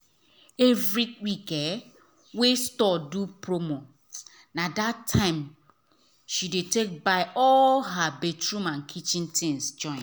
every week wey store do promo na that time she dey take buy all her bathroom and kitchen things.